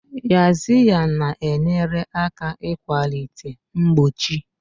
Yaxiya na-enyere aka ịkwalite mgbochi.